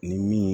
Ni min